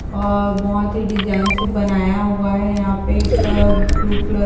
और बोहत ही डिजाइन से बनाया हुआ है यहा पे एक ब्लू कलर --